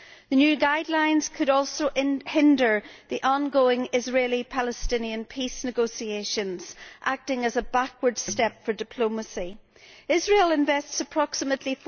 The new guidelines could also hinder the ongoing Israeli Palestinian peace negotiations, acting as a backward step for diplomacy. Israel invests approximately